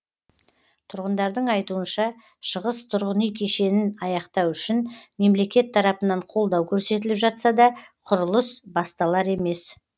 тұрғындардың айтуынша шығыс тұрғын үй кешешін аяқтау үшін мемлекет тарапынан қолдау көрсетіліп жатса да құрылыс басталар емес